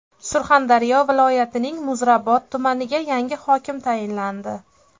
Surxondaryo viloyatining Muzrabot tumaniga yangi hokim tayinlandi.